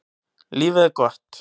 Lífið er gott.